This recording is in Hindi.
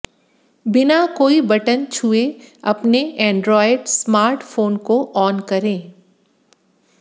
बिना कोई बटन छुए अपने एंड्रॉयड स्मार्टफोन को ऑन करें